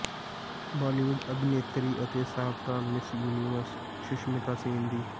ਬਾਲੀਵੁੱਡ ਅਭਿਨੇਤਰੀ ਅਤੇ ਸਾਬਕਾ ਮਿਸ ਯੂਨੀਵਰਸ ਸੁਸ਼ਮਿਤਾ ਸੇਨ ਦੀ